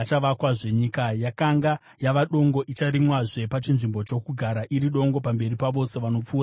Nyika yakanga yava dongo icharimwazve pachinzvimbo chokugara iri dongo pamberi pavose vanopfuura napo.